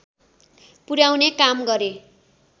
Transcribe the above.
पुर्‍याउने काम गरे